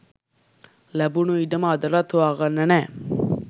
ලැබුණු ඉඩම අදටත් හොයාගන්න නෑ.